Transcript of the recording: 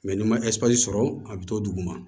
n'i ma sɔrɔ a bɛ to dugu ma